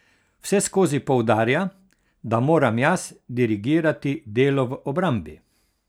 Vseskozi poudarja, da moram jaz dirigirati delo v obrambi.